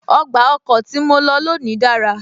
Ọgbà ọkọ̀ tí mo lọ lónìí dára